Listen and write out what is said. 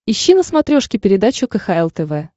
ищи на смотрешке передачу кхл тв